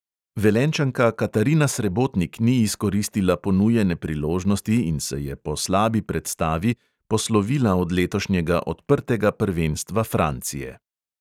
Velenjčanka katarina srebotnik ni izkoristila ponujene priložnosti in se je po slabi predstavi poslovila od letošnjega odprtega prvenstva francije.